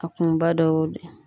A kunba dɔ y'o de ye